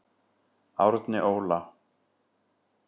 Árni Óla.